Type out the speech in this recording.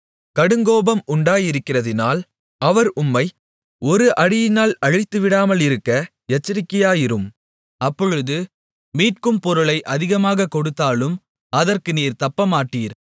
கடுங்கோபம் உண்டாயிருக்கிறதினால் அவர் உம்மை ஒரு அடியினால் அழித்துவிடாமலிருக்க எச்சரிக்கையாயிரும் அப்பொழுது மீட்கும் பொருளை அதிகமாகக் கொடுத்தாலும் அதற்கு நீர் தப்பமாட்டீர்